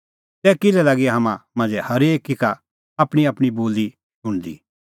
तै किल्है लागी हाम्हां मांझ़ै हरेकी का आपणींआपणीं बोली शुणदी